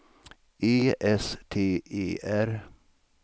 E S T E R